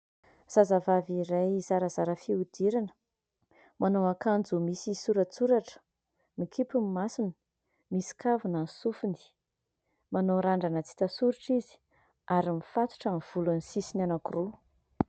Zazavavy iray zarazara fihodirana, manao akanjo misy soratsoratra. Mikipy ny masony, misy kavina ny sofiny, manao randrana tsy hita soritra izy ary mifatotra ny volony sisiny anankiroa.